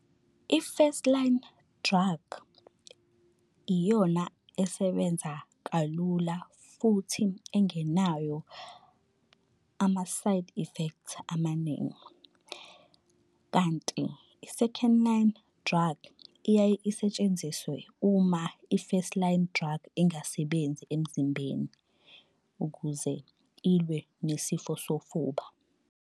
I-first line drug iyona esebenza kalula futhi engenayo ama-side affect amaningi. Kanti i-second line drug iyaye isetshenziswe uma i-first line drug ingasebenzi emzimbeni, ukuze ilwe nesifo sofuba.